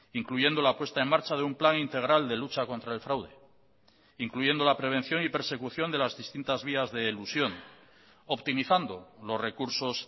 incluyendo la puesta en marcha de un plan integral de lucha contra el fraude incluyendo la prevención y persecución de las distintas vías de elusión optimizando los recursos